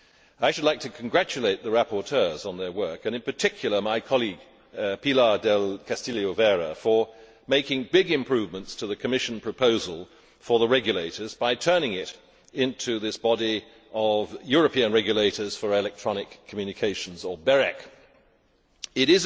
I should like to congratulate the rapporteurs on their work and in particular my colleague, Pilar del Castillo Vera, on making big improvements to the Commission proposal for the regulators by turning it into this Body of European Regulators for Electronic Communications It